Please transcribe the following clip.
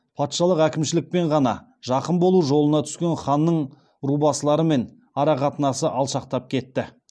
патшалық әкімшілікпен ғана жақын болу жолына түскен ханның рубасылармен арақатынасы алшақтап кетті